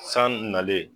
San nalen